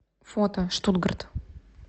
фото штуттгарт